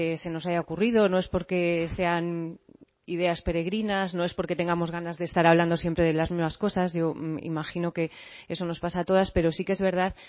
se nos haya ocurrido no es porque sean ideas peregrinas no es porque tengamos ganas de estar hablando siempre de las mismas cosas yo imagino que eso nos pasa a todas pero sí que es verdad